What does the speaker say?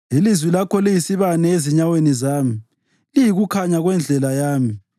Ilizwi lakho liyisibane ezinyaweni zami liyikukhanya kwendlela yami.